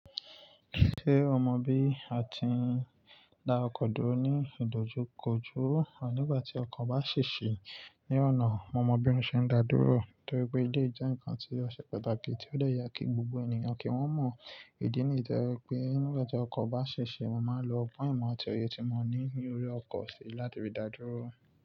Ṣé o mọ bí a ti ń dá ọkọ dúró ní ìdojúkọjú? À nígbà tí ọkọ̀ bá ṣèṣì ní ọ̀nà, mo mọ bi wọn ṣe ń dá dúró torí pé eléyìí jẹ nǹkan ti ọṣẹ pàtàkì tí ó dẹ̀ yẹ kí gbogbo ènìyàn kí wọ́n mọ̀. Ìdí nì yíí to jẹ wípé nígbà tí ọkọ̀ bá ṣèṣì, mo máa ń lo ọgbọ́n ìmọ̀ àti òye tí mo ní ní orí ọkọ̀ sí láti rí dá dúró.